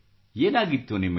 ಏನಾಗಿತ್ತು ನಿಮಗೆ